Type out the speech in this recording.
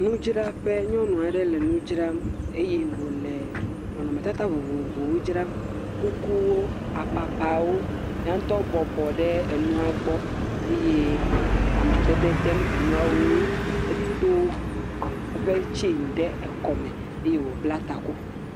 Nudzraƒe nyɔnu aɖe le nu dzram eye wòle nɔnɔmetata vovovowo dzram, kukuwo apapawo ya ŋutɔ bɔbɔ nɔ anyi ɖe enua gbɔ eye wole amadede dem enuawo ŋu edo eƒe chain ɖe kɔme.